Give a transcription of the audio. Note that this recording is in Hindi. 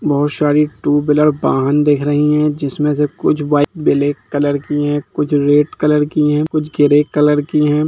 बहोत सारी टू व्हीलर वाहन दिख रही हैं जिसमें से कुछ बाइक ब्लैक कलर की हैं कुछ रेड कलर की है कुछ ग्रे कलर की है।